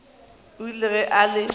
o ile ge a le